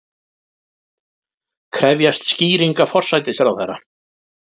Krefjast skýringa forsætisráðherra